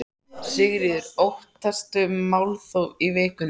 Sigríður: Óttastu málþóf í vikunni?